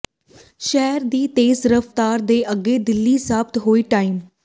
ਸ਼ਹਿਰ ਦੀ ਤੇਜ਼ ਰਫ਼ਤਾਰ ਦੇ ਅੱਗੇ ਢਿੱਲੀ ਸਾਬਤ ਹੋਈ ਟ੍ਰਾਮ